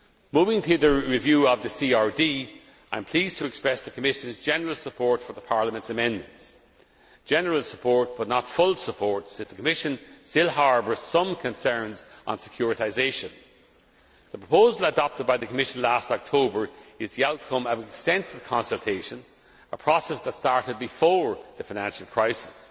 Moving to the review of the CRD, I am pleased to express the Commission's general support for Parliament's amendments. General support, but not full support, as the Commission still harbours some concerns on securitisation. The proposal adopted by the Commission last October is the outcome of extensive consultation, a process that started before the financial crisis.